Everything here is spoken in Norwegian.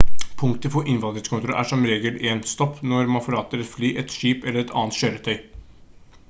punktet for innvandringskontroll er som regel 1. stopp når man forlater et fly et skip eller et annet kjøretøy